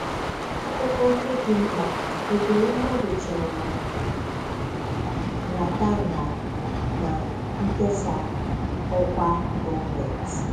Akụkọ ndị dị mkpa: Ekweremàdù chọrọ nhàtànhà na nkèsà ọkwa gọọmentị